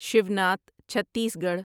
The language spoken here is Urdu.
شیوناتھ چھتیسگڑھ